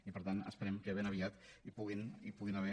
i per tant esperem que ben aviat hi puguin haver